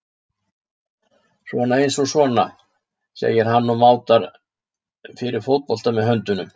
Svona eins og sona, segir hann og mátar fyrir fótbolta með höndunum.